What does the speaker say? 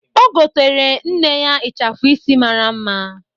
O goteere nne ya ịchafụ isi mara mma.